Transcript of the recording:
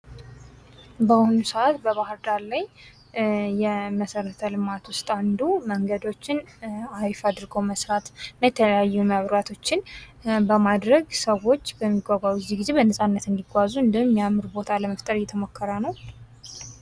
ባሁኑ ሰአት በባህርዳር ላይ የመሰረተ ልማት ውስጥ አንዱ መንገዶችን አሪፍ አድርጎ መስራት እና የተለያዩ መንራቶችን በማድረግ ሰዎች በሚጓጓዙ ጊዜ በነጻነት እንዲጓዙ እንዲሁም የሚያምር ቦታን ከመፍጠር እየተሞከረ ነው።